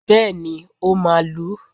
Bẹ́ẹ̀ ni, ó máa lu ú